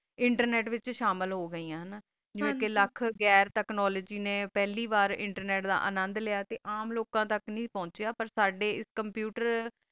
internet ਵਾਤ੍ਚ ਸ਼ਾਮਲ ਹੋ ਗੀ ਆ ਜੀਵਾ ਕਾ ਲਖ ਗਰ technology ਪਹਲੀ ਵਾਰ internet ਇੰਤੇਰੰਟ ਦਾ ਅਨੰਦੁ ਲਾਯਾ ਆਮ ਲੋਕਾ ਤਕ ਨਹੀ ਪੋੰਚਾ ਸਦਾ ਆਸ computer ਵਾਰ